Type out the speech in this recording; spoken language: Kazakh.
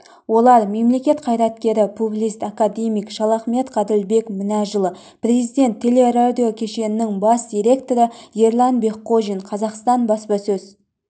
олар мемлекет қайреткері публицист академик шалахметов ғаділбек мінәжұлы президент телерадиокешенінің бас директоры ерлан бекқожин қазақстан баспасөз